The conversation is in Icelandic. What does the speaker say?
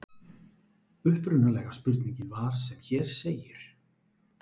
Upprunalega spurningin var sem hér segir: